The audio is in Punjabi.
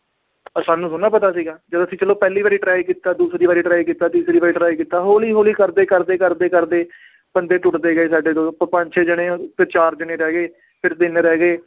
ਆਹ ਸਾਨੂੰ ਥੋੜ੍ਹੀ ਨਾ ਪਤਾ ਸੀਗਾ ਜਦੋਂ ਅਸੀਂ ਚਲੋ ਪਹਿਲੀ ਵਾਰੀ try ਕੀਤਾ ਦੂਸਰੀ ਵਾਰੀ try ਕੀਤਾ, ਤੀਸਰੀ ਵਾਰ try ਕੀਤਾ ਹੌਲੀ ਹੌਲੀ ਕਰਦੇ-ਕਰਦੇ, ਕਰਦੇ-ਕਰਦੇ ਬੰਦੇ ਟੁੱਟਦੇ ਗਏ ਸਾਡੇ ਪੰਜ ਛੇ ਜਾਣੇ ਆ ਫਿਰ ਚਾਰ ਜਾਣੇੇ ਰਹਿ ਗਏ ਫਿਰ ਤਿੰਨ ਰਹਿ ਗਏ